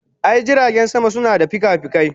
I, jiragen sama suna da fikafikai.